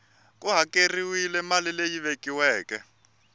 ku hakeriwile mali leyi vekiweke